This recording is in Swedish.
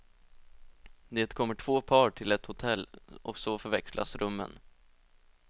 Det kommer två par till ett hotell och så förväxlas rummen.